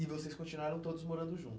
E vocês continuaram todos morando